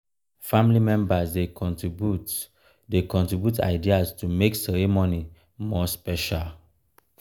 family members dey contribute dey contribute ideas to make um ceremony more special.